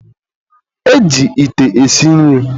e ji ite esi nri.